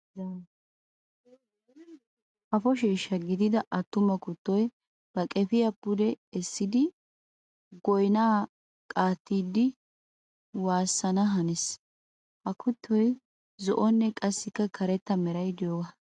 Kafo sheeshsha gididda atuma kuttoy ba qefiya pudde essiddi goynna qaattiddi waasanna hanees. Ha kuttoy zo'onne qassikka karetta meray de'iyooga.